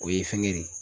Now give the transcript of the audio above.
O ye fɛngɛ nin ye